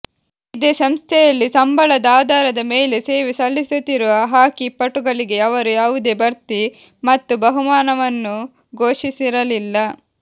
ಇದೇ ಸಂಸ್ಥೆಯಲ್ಲಿ ಸಂಬಳದ ಆಧಾರದ ಮೇಲೆ ಸೇವೆ ಸಲ್ಲಿಸುತ್ತಿರುವ ಹಾಕಿ ಪಟುಗಳಿಗೆ ಅವರು ಯಾವುದೇ ಬಡ್ತಿ ಮತ್ತು ಬಹುಮಾನವನ್ನು ಘೋಷಿಸಿರಲಿಲ್ಲ